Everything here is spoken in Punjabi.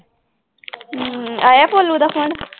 ਹਮ ਆਇਆ ਭੋਲੂ ਦਾ phone